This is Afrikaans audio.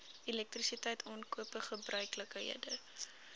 elektrisiteit aankope gebeurlikhede